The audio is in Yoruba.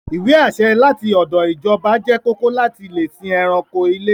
Ìwé-àṣẹ láti ọdọ̀ ìjọba jẹ́ kóòkó láti lè sìn ẹranko ilé.